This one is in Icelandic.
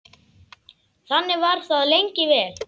Þannig var það lengi vel.